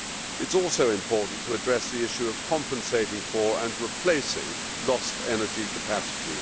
It is also important to address the issue of compensating for and replacing lost energy capacity.